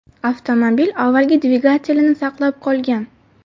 Avtomobil avvalgi dvigatelini saqlab qolgan.